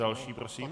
Další prosím.